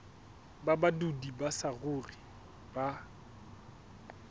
ba badudi ba saruri ba